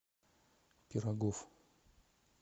пирогов